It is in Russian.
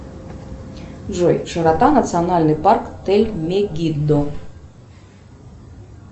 джой широта национальный парк тель мигидо